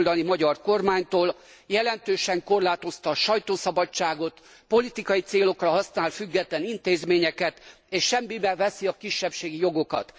a jobboldali magyar kormánytól jelentősen korlátozta a sajtószabadságot, politikai célokra használt független intézményeket, és semmibe veszi a kisebbségi jogokat.